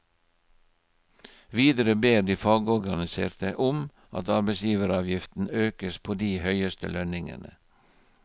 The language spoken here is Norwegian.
Videre ber de fagorganiserte om at arbeidsgiveravgiften økes på de høyeste lønningene.